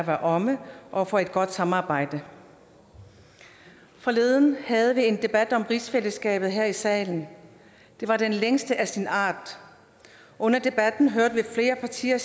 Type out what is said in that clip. være omme og for et godt samarbejde forleden havde vi en debat om rigsfællesskabet her i salen det var den længste af sin art under debatten hørte vi flere partier